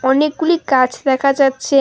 অনেকগুলি গাছ দেখা যাচ্ছে।